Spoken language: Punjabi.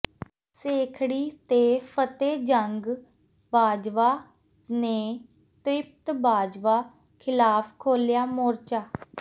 ਸੇਖੜੀ ਤੇ ਫਤਿਹਜੰਗ ਬਾਜਵਾ ਨੇ ਤ੍ਰਿਪਤ ਬਾਜਵਾ ਖਿਲਾਫ ਖੋਲ੍ਹਿਆ ਮੋਰਚਾ